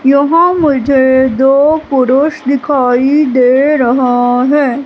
यहां मुझे दो पुरुष दिखाई दे रहा है।